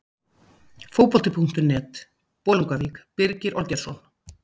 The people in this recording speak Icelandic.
Fótbolti.net, Bolungarvík- Birgir Olgeirsson.